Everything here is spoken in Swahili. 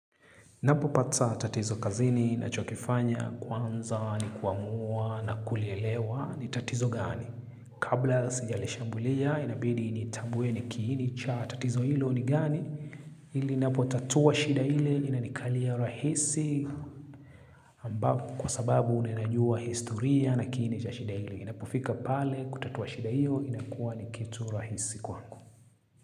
Ninapopata tatizo kazini nachokifanya kwanza ni kuamua na kulielewa ni tatizo gani? Kabla sijalishambulia inabidi nitambue kiini cha tatizo hilo ni gani? Ili ninapotatua shida hile linanikalia rahisi kwa sababu ninajua historia na kiini cha shida hile. Inapofika pale kutatua shida hio inakuwa ni kitu rahisi kwangu.